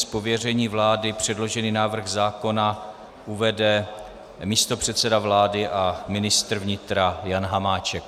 Z pověření vlády předložený návrh zákona uvede místopředseda vlády a ministr vnitra Jan Hamáček.